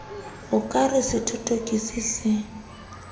o ka re sethothokisi se